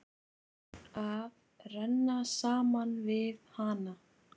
Að renna saman við hana.